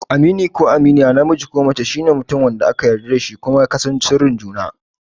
Amini ko Aminiya, namiji ko mace, shine mutum wanda aka yarda da shi kuma ku ka san sirrin juna.